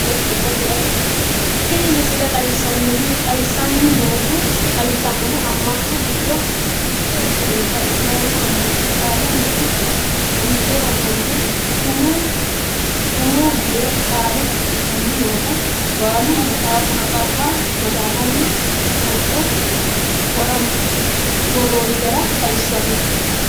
Tiini miisile xawissanohu noo aamana giido miite iiktnota islamuu ammnatti baalu miite oofolesuumu yee kaale maacishanni noota ballu matsaffanna hocco wornotra xawisanno.